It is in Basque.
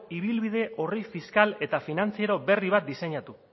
ibilbide orri fiskal eta finantziero berri bat diseinatu